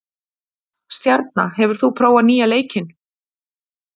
Stjarna, hefur þú prófað nýja leikinn?